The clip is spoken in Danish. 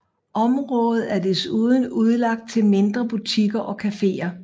Området er desuden udlagt til mindre butikker og caféer